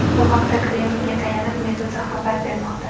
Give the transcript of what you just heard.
Bu haqda Kremlga tayanib, Meduza xabar bermoqda .